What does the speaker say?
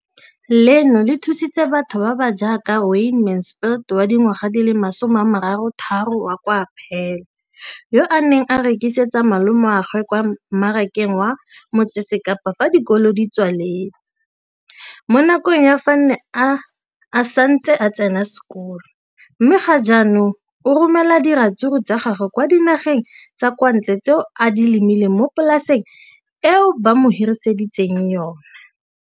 Leno le thusitse batho ba ba jaaka Wayne Mansfield, 33, wa kwa Paarl, yo a neng a rekisetsa malomagwe kwa Marakeng wa Motsekapa fa dikolo di tswaletse, mo nakong ya fa a ne a santse a tsena sekolo, mme ga jaanong o romela diratsuru tsa gagwe kwa dinageng tsa kwa ntle tseo a di lemileng mo polaseng eo ba mo hiriseditseng yona.